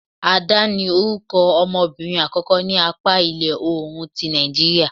ADA, ni orukọ ọmọbirin akọkọ ni apa ila-oorun ti Nàìjíría..